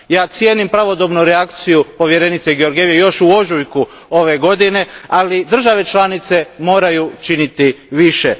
Cijenim pravodobnu reakciju povjerenice Georgieve još u ožujku ove godine, ali države članice moraju činiti više.